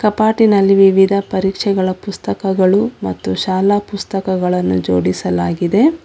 ಕಪಾಟಿನಲ್ಲಿ ವಿವಿಧ ಪರೀಕ್ಷೆಗಳ ಪುಸ್ತಕಗಳು ಮತ್ತು ಶಾಲಾ ಪುಸ್ತಕಗಳನ್ನು ಜೋಡಿಸಲಾಗಿದೆ.